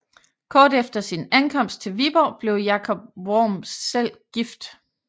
Kort efter sin ankomst til Viborg blev Jacob Worm selv gift